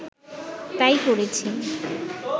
তাই করেছি